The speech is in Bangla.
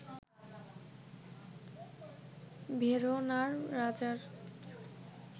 ভেরোনার রাজার